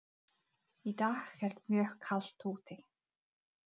Í dag er mjög kalt úti.